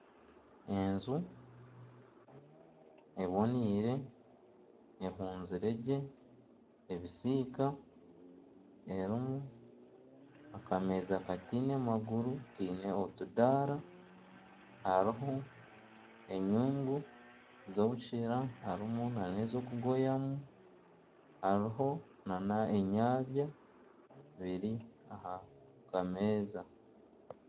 Enju ebonaire ehuunzire gye ebisiika erimu akameeza kataine maguru kiine otudaara hariho enyungu z'obusheera harimu n'ez'okugoyamu hariho n'enyabya biri aha kameeza.